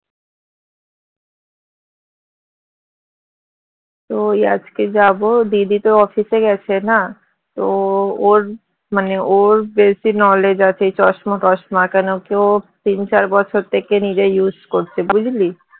তো ওই আজকে যাবো দিদি তো office এ গেছে না তো ওর মানে ওর বেশি knowledge আছে এই চশমা টশমা কেন কি ও তিন চার বছর থেকে নিজে use করছে বুঝলি